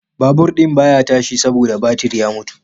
Babur din baya tashi saboda batir ya mutu